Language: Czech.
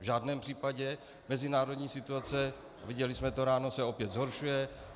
V žádném případě, mezinárodní situace, viděli jsme to ráno, se opět zhoršuje.